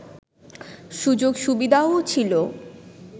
সুযোগ সুবিধাও ছিল